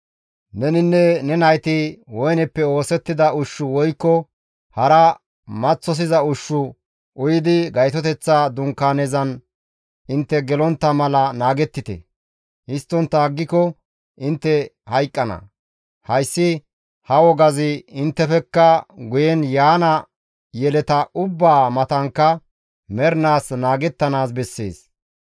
«Neninne ne nayti woyneppe oosettida ushshu woykko hara maththosiza ushshu uyidi Gaytoteththa Dunkaanezan intte gelontta mala naagettite; histtontta aggiko intte hayqqana; hayssi ha wogazi inttefekka guyen yaana yeleta ubbaa matankka mernaas naagettanaas bessees.